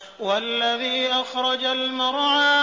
وَالَّذِي أَخْرَجَ الْمَرْعَىٰ